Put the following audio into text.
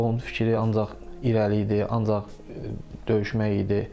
Onun fikri ancaq irəli idi, ancaq döyüşmək idi.